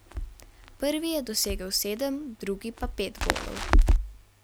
Prvi je dosegel sedem, drugi pa pet golov.